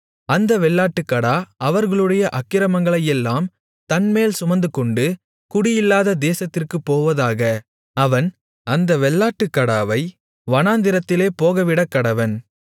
அந்த வெள்ளாட்டுக்கடா அவர்களுடைய அக்கிரமங்களையெல்லாம் தன்மேல் சுமந்துகொண்டு குடியில்லாத தேசத்திற்குப் போவதாக அவன் அந்த வெள்ளாட்டுக்கடாவை வனாந்திரத்திலே போகவிடக்கடவன்